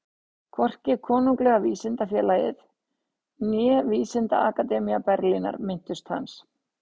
Hvorki Konunglega vísindafélagið né Vísindaakademía Berlínar minntust hans.